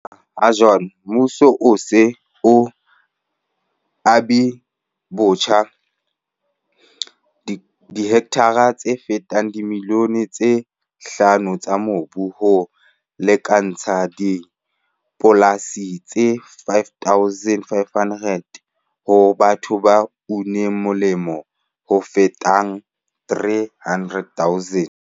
"Ho fihlela ha jwale, mmuso o se o abilebotjha dihektara tse fetang dimilione tse hlano tsa mobu, ho lekantshang dipolasi tse 5 500, ho batho ba uneng molemo ba fetang 300 000."